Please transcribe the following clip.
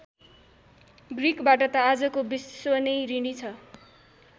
ग्रिकबाट त आजको विश्व नै ऋणी छ।